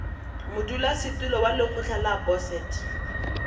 modulasetulo wa lekgotla la boset